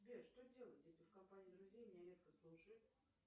сбер что делать если в компании друзей меня редко слушают